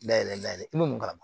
Dayɛlɛ layɛ i man karama